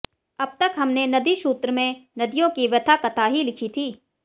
अब तक हमने नदीसूत्र में नदियों की व्यथा कथा ही लिखी थी